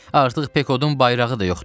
Artıq Pekodun bayrağı da yoxdur.